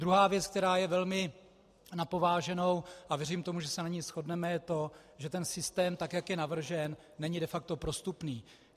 Druhá věc, která je velmi na pováženou, a věřím tomu, že se na ní shodneme, je to, že ten systém, tak jak je navržen, není de facto prostupný.